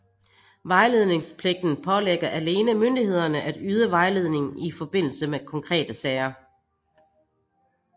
Vejledningspligten pålægger alene myndighederne at yde vejledning i forbindelse med konkrete sager